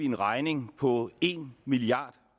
en regning på en milliard